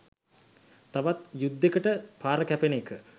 තවත් යුද්දෙකට පාර කෑපෙන එක.